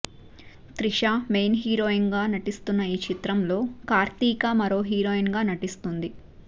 Trisha main heroine గా నటిస్తున్న ఈ చిత్రంలో కార్తీక మరో హీరొయిన్ నటిస్తుంది